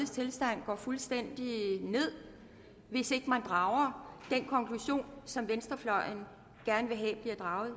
går fuldstændig ned hvis ikke man drager den konklusion som venstrefløjen gerne vil have bliver draget